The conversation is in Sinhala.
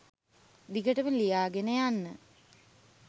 දිගටම ලියාගෙන යන්න.